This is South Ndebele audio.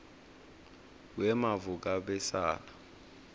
wemavukabesala